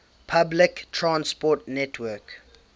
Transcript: public transport network